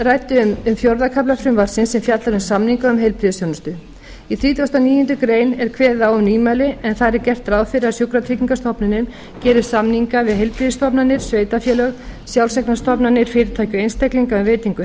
nefndin ræddi um fjórða kafla frumvarpsins sem fjallar um samninga um heilbrigðisþjónustu í þrítugasta og níundu grein er kveðið á um nýmæli en þar er gert ráð fyrir að sjúkratryggingastofnunin geri samninga við heilbrigðisstofnanir sveitarfélög sjálfseignarstofnanir fyrirtæki og einstaklinga um veitingu